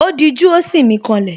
Ó dijú, ó sì mí ká lẹ̀